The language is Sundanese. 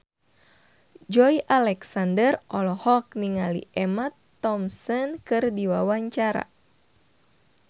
Joey Alexander olohok ningali Emma Thompson keur diwawancara